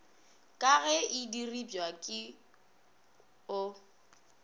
ka ge e diripwa o